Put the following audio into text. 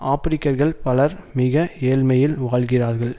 ஆபிரிக்கர்கள் பலர் மிக ஏழ்மையில் வாழ்கிறார்கள்